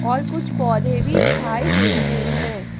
और कुछ पौधे भी दिखाई दे रहे हैं।